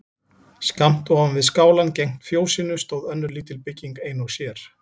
Skammt ofan við skálann gegnt fjósinu stóð önnur lítil bygging ein og sér.